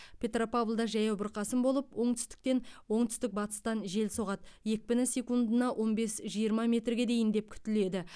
петропавлда жаяу бұрқасын болып оңтүстіктен оңтүстік батыстан жел соғады екпіні секундына он бес жиырма метрге дейін деп күтіледі